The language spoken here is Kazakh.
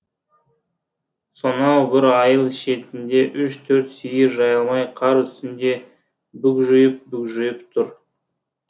сонау бір айыл шетінде үш төрт сиыр жайылмай қар үстінде бүгжиіп бүгжиіп тұр